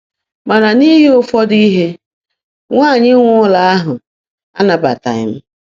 Mana n’ihi ụfọdụ ihe, nwanyị nwe ụlọ ahụ anabataghị m.